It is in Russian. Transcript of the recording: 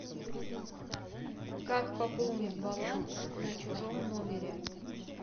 как пополнить баланс на чужом номере